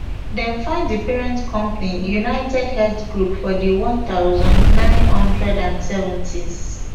dem found di parent company unitedhealth group for di one thousand, nine hundred and seventys